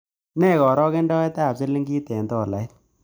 Nee karogendoetap silingiit eng' tolait